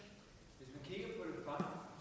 jo